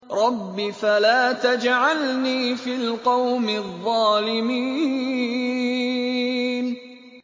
رَبِّ فَلَا تَجْعَلْنِي فِي الْقَوْمِ الظَّالِمِينَ